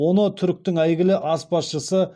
оны түріктің әйгілі азпазшысы